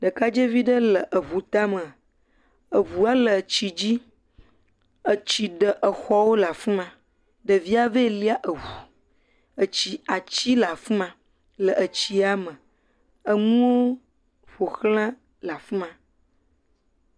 Ɖekadzevi ɖe le eŋu tame, eŋua le tsi dzi, etsi ɖe exɔwo le afi ma, ɖevia vɛ lia eŋu, etsi ati le afi ma le atisa me enu ƒoxla le afi ma.